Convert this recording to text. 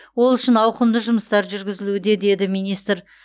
ол үшін ауқымды жұмыстар жүргізілуде деді министр